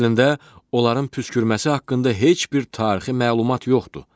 Əslində, onların püskürməsi haqqında heç bir tarixi məlumat yoxdur.